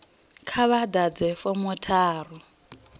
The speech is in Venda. kha vha ḓadze fomo tharu